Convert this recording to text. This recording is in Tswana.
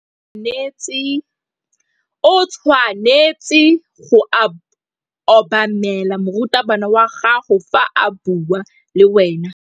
O tshwanetse go obamela morutabana wa gago fa a bua le wena.